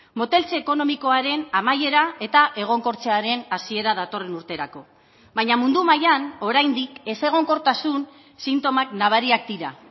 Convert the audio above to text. moteltze ekonomikoaren amaiera eta egonkortzearen hasiera datorren urterako baina mundu mailan oraindik ezegonkortasun sintomak nabariak dira